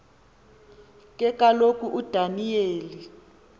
ke kaloku udaniyeli